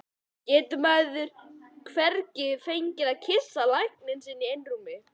Getur maður hvergi fengið að kyssa lækninn sinn í einrúmi?